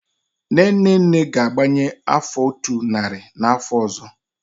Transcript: Nne-nne-nne ga-agbanye afọ otu nari n'afọ ọzọ.